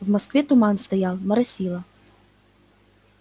в москве туман стоял моросило